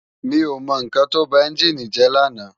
Mi ó mò n kán tó bá ènjini jè làná